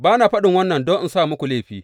Ba na faɗin wannan don in sa muku laifi.